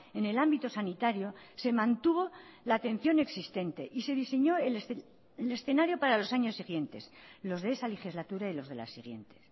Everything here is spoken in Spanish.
en el ámbito sanitario se mantuvo la atención existente y se diseñó el escenario para los años siguientes los de esa legislatura y los de la siguiente